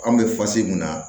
An bɛ mun na